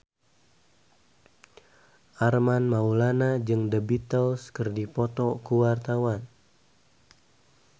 Armand Maulana jeung The Beatles keur dipoto ku wartawan